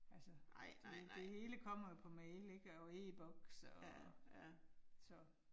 Altså det det hele kommer jo på mail ik og e-Boks og. Så